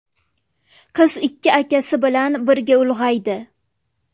Qiz ikki akasi bilan birga ulg‘aydi.